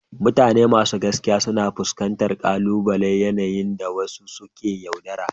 Mutane masu gaskiya suna iya fuskantar ƙalubale a yanayi da wasu suke yaudara.